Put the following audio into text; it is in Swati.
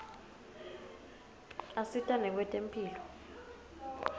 asita nakwetemphilo